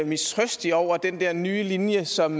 mistrøstig over den nye linje som